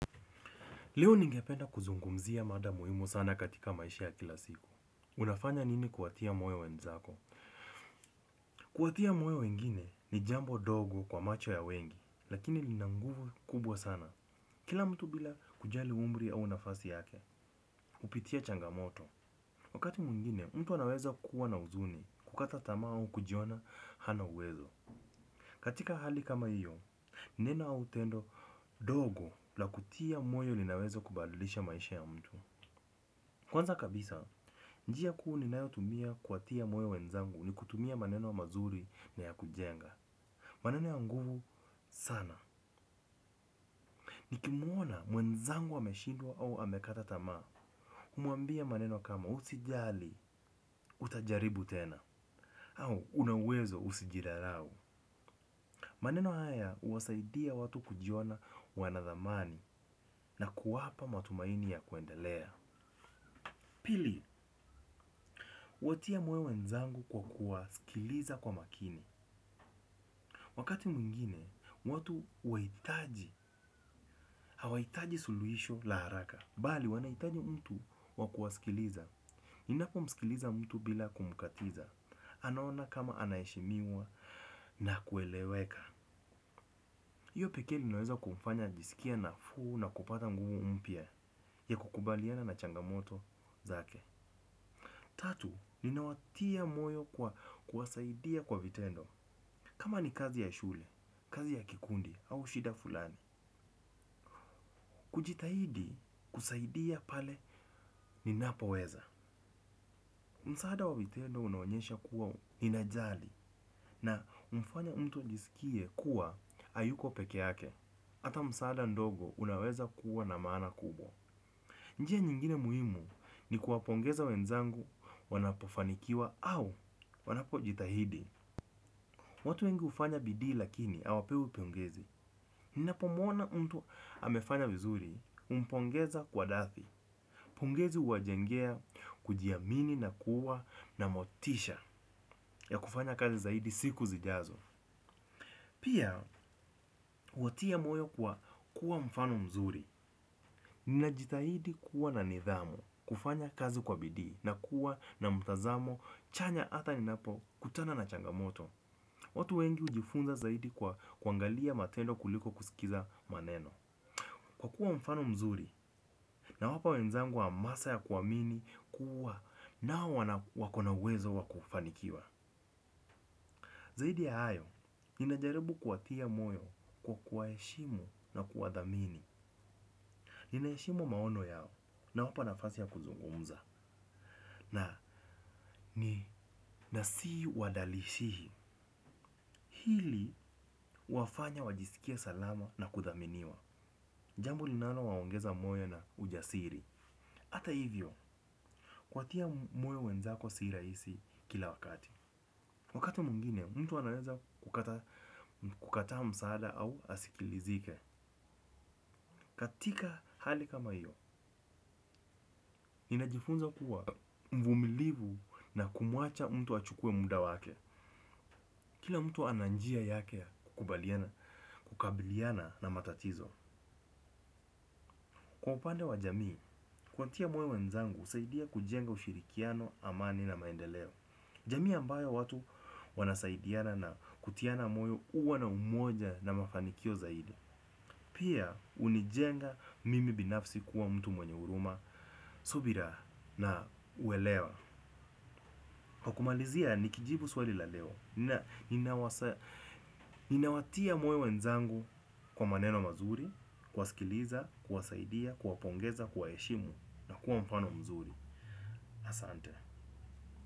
Leo ningependa kuzungumzia mada muhimu sana katika maisha ya kila siku. Unafanya nini kuwatia moyo wenzako? Kuwatia moyo wengine ni jambo dogo kwa macho ya wengi, lakini lina nguvu kubwa sana. Kila mtu bila kujali umri au nafasi yake, hupitia changamoto. Wakati mwingine, mtu anaweza kuwa na huzuni kukata tamaa au kujiona hana uwezo. Katika hali kama hiyo, neno au tendo dogo la kutia moyo linaweza kubadilisha maisha ya mtu. Kwanza kabisa, njia kuu ninayotumia kuwatia moyo wenzangu ni kutumia maneno mazuri na ya kujenga. Maneno ya nguvu sana. Nikimuona mwenzangu ameshindwa au amekata tamaa. Humuambia maneno kama usijali, utajaribu tena. Au, una uwezo usijizarau. Maneno haya uwasaidia watu kujiona wanadhamani na kuwapa matumaini ya kuendelea. Pili, uwatia moyo wenzangu kwa kuwasikiliza kwa makini. Wakati mwingine, watu wahitaji, hawahitaji suluhisho la haraka. Bali, wanahitaji mtu wa kuwasikiliza. Ninapomsikiliza mtu bila kumkatiza. Anaona kama anaheshimiwa na kueleweka. Iyo pekee inaweza kumfanya ajisikie nafuu na kupata nguvu mpya ya kukubaliana na changamoto zake. Tatu, ninawatia moyo kwa kuwasaidia kwa vitendo. Kama ni kazi ya shule, kazi ya kikundi, au shida fulani. Kujitahidi kusaidia pale ninapoweza. Msaada wa vitendo unaonyesha kuwa ninajali na humfanya mtu ajisikie kuwa hayuko peke yake. Hata msaada ndogo unaweza kuwa na maana kubwa. Njia nyingine muhimu ni kuwapongeza wenzangu wanapofanikiwa au wanapojitahidi. Watu wengi hufanya bidii lakini hawapewi pongezi. Ninapomuona mtu amefanya vizuri humpongeza kwa dathi. Pongezi huwajengea kujiamini na kuwa na motisha ya kufanya kazi zaidi siku zijazo. Pia, huwatia moyo kwa kuwa mfano mzuri. Ninajitahidi kuwa na nidhamu, kufanya kazi kwa bidii na kuwa na mtazamo chanya hata ninapokutana na changamoto. Watu wengi ujifunza zaidi kwa kuangalia matendo kuliko kusikiliza maneno. Kwa kuwa mfano mzuri nawapa wenzangu hamasa ya kuamini kuwa nao wana wako na uwezo wa kufanikiwa. Zaidi ya hayo, ninajaribu kuwatia moyo kwa kuwaheshimu na kuwadhamini. Ninaheshimu maono yao nawapa nafasi ya kuzungumza na ni nasi wadalishihi. Hili huwafanya wajisikie salama na kudhaminiwa. Jambo linalowaongeza moyo na ujasiri hata hivyo, kuwatia moyo wenzako si rahisi kila wakati. Wakati mwingine, mtu anaweza kukata kukata msaada au asikilizike. Katika hali kama hiyo, ninajifunza kuwa mvumilivu na kumuacha mtu achukue muda wake. Kila mtu ana njia yake ya kukubaliana kukabiliana na matatizo. Kwa upande wa jamii, kuwatia moyo wenzangu husaidia kujenga ushirikiano amani na maendeleo. Jamii ambayo watu wanasaidiana na kutiana moyo kuwa na umoja na mafanikio zaidi. Pia unijenga mimi binafsi kuwa mtu mwenye huruma, subira na uelewa. Kwa kumalizia nikijibu swali la leo nina ninawasa. Ninawatia moyo wenzangu kwa maneno mazuri, kuwasikiliza, kuwasaidia, kuwapongeza, kuwaheshimu na kuwa mfano mzuri. Asante.